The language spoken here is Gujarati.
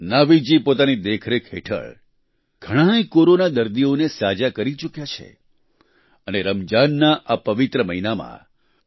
નાવીદજી પોતાની દેખરેખ હેઠળ ઘણાએ કોરોના દર્દીઓને સાજા કરી ચૂક્યા છે અને રમજાનના આ પવિત્ર મહિનામાં ડો